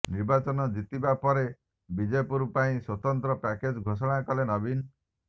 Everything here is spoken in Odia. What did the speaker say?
ନିର୍ବାଚନ ଜିତିବାପରେ ବିଜେପୁର ପାଇଁ ସ୍ୱତନ୍ତ୍ର ପ୍ୟାକେଜ ଘୋଷଣା କଲେ ନବୀନ